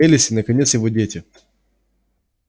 элис и наконец его дети